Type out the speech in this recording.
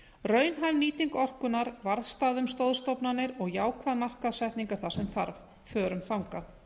raunhæf nýting orkunnar varðstaða um stoðstofnanir og jákvæð markaðssetning er það sem þarf förum þangað